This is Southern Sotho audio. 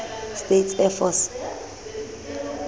states air force